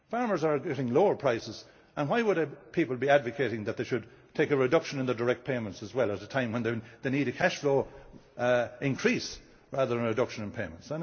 Farmers are getting lower prices and why would people be advocating that they should take a reduction in their direct payments as well at a time when they need a cash flow increase rather than a reduction in payments?